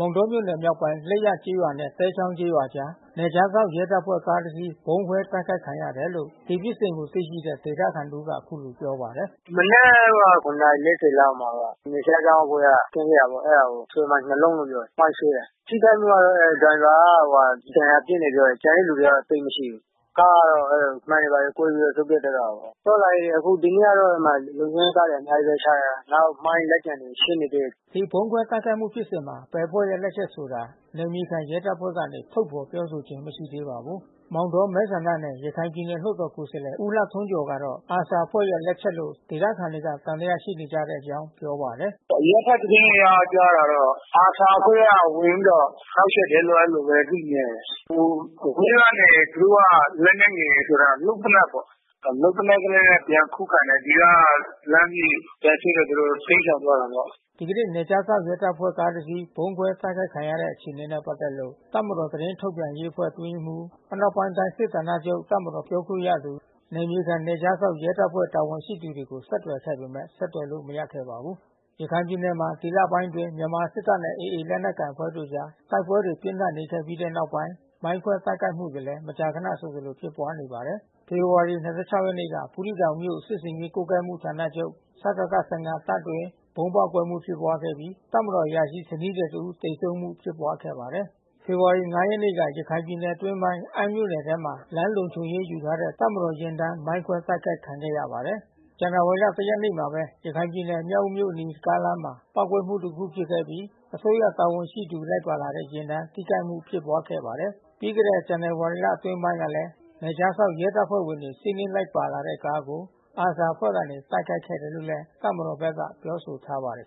မောင်တောမြို့နယ် မြောက်ပိုင်း လိပ်ရကျေးရွာနဲ့သဲချောင်းကျေးရွာအကြား နယ်ခြားစောင့်ရဲတပ်ဖွဲ့ကားတစီး ဗုံးခွဲ တိုက်ခိုက်ခံရတယ်လို့ ဒီဖြစ်စဉ်ကိုသိရှိတဲ့ ဒေသခံတဦးက အခုလိုပြောပါတယ်။ “မနက် နာရီ လောက်မှာပါ။ နယ်ခြားစောင့်အဖွဲ့ကကင်းလှည့်တာပေါ့။ အဲတာ ဆွဲမိုင်း လုံးလို့ပြောတယ် မိုင်းဆွဲတာ။ ထိခိုက်မှု ကတော့ ဒါရိုင်ဘာက ဒဏ်ရာပြင်းတယ် ပြောတယ်။ ကျန်တဲ့သူက သိပ်မရှိဘူး။ ကားကတော့ မှန်တွေ ဘာတွေကွဲပြီးစုတ်ပြတ်သွားတာပေါ့။ သွားလာရေး အခုဒီနေ့ကတော့ အဲဒီမှာလုံခြုံရေးကားတွေ အများကြီး ပဲချထားတာ။ နောက် မိုင်းလက်ကျန်တွေ ရှင်းနေသေးတယ်” ဒီဗုံးခွဲတိုက်ခိုက်မှုဖြစ်စဉ်မှာ ဘယ်အဖွဲ့ရဲ့လက်ချက်ဆိုတာ နယ်မြေခံရဲတပ်ဖွဲ့ကနေ ထုတ်ဖေါ် ပြောဆိုခြင်းမရှိ သေးပါဘူး။ မောင်တော မဲဆန္ဒနယ် ရခိုင်ပြည်နယ်လွှတ်တော်ကိုယ်စားလှယ် ဦးလှထွန်းကျော်ကတော့ ARSA အဖွဲ့ရဲ့ လက်ချက်လို့ ဒေသခံတွေက သံသယရှိနေကြတဲ့အကြောင်း ပြောပါတယ်။ “အရပ်ဘက်သတင်းအရကြားတာတော့ ARSA အဖွဲ့ကဝင်ပြီးတော့ နှောက်ယှက်တယ်လို့ အဲဒီလိုဘဲ သိခဲ့တယ်။ ဟိုအဝေးကနေသူတို့က လက်နက်ငယ်ဆိုတာ လုပ်သေနတ်ပေါ့ ၊ လုပ်သေနတ်နဲ့ ပြန်ခုခံတယ်။ ဒီကလှမ်းပြီး ပြန်ထုတယ် ဆိုတော့ တိမ်းရှောင်သွားတာပေါ့။ ” ဒီကနေ့နယ်ခြားစောင့်ရဲတပ်ဖွဲ့ကားတစီး ဗုံးခွဲ တိုက်ခိုက်ခံတဲ့အခြေအနေနဲ့ပက်သက်လို့ တပ်မတော်သတင်းထုတ် ပြန်ရေးအဖွဲ့ အတွင်းရေးမှူး အနောက်ပိုင်းတိုင်းစစ်ဌာနချုပ် တပ်မတော်ပြောခွင့်ရ နယ်မြေခံနယ်ခြားစောင့် ရဲတပ်ဖွဲ့ တာဝန်ရှိသူကိုဆက်သွယ်ခဲ့ပေမဲ့ ဆက်သွယ်လို့မရခဲ့ပါဘူး။ ရခိုင်ပြည်နယ်မှာ ဒီလပိုင်းတွေအတွင်း မြန်မာစစ်တပ်နဲ့ AA လက်နက်ကိုင်အဖွဲ့အကြား တိုက်ပွဲတွေ ပြင်းထန်နေခဲ့ပြီး တဲ့ နောက်ပိုင်း မိုင်းခွဲတိုက်ခိုက်မှုတွေလည်း မကြာခဏဆိုသလို ဖြစ်ပွါးနေပါတယ်။ ဖေဖေါ်ဝါရီ ရက်နေ့က ဘူးသီးတောင်မြို့စစ်ဆင်ရေးကွပ်ကွဲမှု စစ်ဌာနချုပ်စကခ တပ်အတွင်း ဗုံးပေါက် ကွဲမှုဖြစ်ပွားခဲ့ပြီး တပ်မတော်အရာရှိ ဇနီးသည်တဦး သေဆုံးမှုဖြစ်ပွားခဲ့ပါတယ်။ ဖေဖေါ်ဝါရီ ရက်နေ့က ရခိုင်ပြည်နယ်အတွင်းပိုင်း အမ်းမြို့နယ်ထဲမှာ လမ်းလုံခြုံရေးယူထားတဲ့ တပ်မတော်ယာဉ် တန်း မိုင်းခွဲတိုက်ခိုက်ခံခဲ့ရပါတယ်။ ဇန်နဝါရီ ရက်နေ့မှာပဲ ရခိုင်ပြည်နယ် မြောက်ဦးမြို့အနီး ကားလမ်းမှာ ပေါက်ကွဲမှုတခုဖြစ်ခဲ့ပြီး၊ အစိုးရတာဝန်ရှိသူတွေ လိုက်ပါလာတဲ့ ယာဉ်တန်း ထိခိုက်မှုဖြစ်ပွါးခဲ့ပါတယ် ပြီးခဲ့တဲ့ ဇန်နဝါရီလအတွင်းပိုင်းကလည်း နယ်ခြားစောင့် ရဲတပ်ဖွဲ့ဝင်တွေ စီးနင်းလိုက်ပါလာတဲ့ကားကို ARSA အဖွဲ့က တိုက်ခိုက်ခဲ့တယ်လို့ တပ်မတော်ဘက်က ပြောဆိုထားပါတယ်